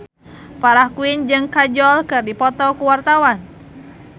Farah Quinn jeung Kajol keur dipoto ku wartawan